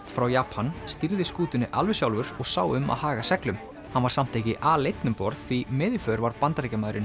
frá Japan stýrði skútunni alveg sjálfur og sá um að haga seglum hann var samt ekki aleinn um borð því með í för var Bandaríkjamaðurinn